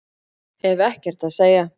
Hef ekkert að segja